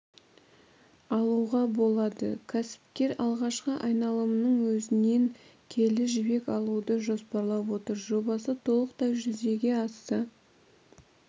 алуға болады кәсіпкер алғашқы айналымның өзінен келі жібек алуды жоспарлап отыр жобасы толықтай жүзеге асса